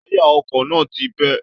Táyà ọkọ náà ti bẹ́